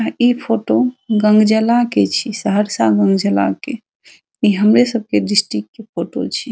इ फोटो गंगजला के छीये सहरसा गंगजला के इ हमरे सब के डिस्ट्रिक्ट के फोटो छीये ।